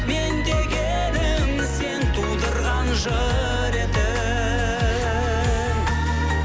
мен дегенім сен тудырған жыр едің